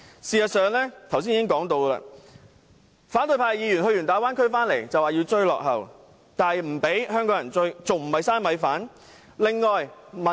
正如我剛才所說，反對派議員到過大灣區後便說要追落後，但又不讓香港人追，這樣還不是"嘥米飯"？